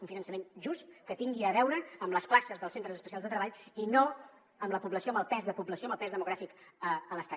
un finançament just que tingui a veure amb les places dels centres especials de treball i no amb la població amb el pes de població amb el pes demogràfic a l’estat